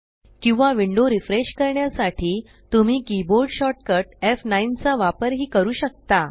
किंवा window refresh करण्यासाठी तुम्ही कीबोर्ड शॉर्टकट एफ9 चा वापर ही करू शकता